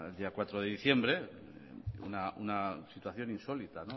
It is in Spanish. el día cuatro de diciembre una situación insólita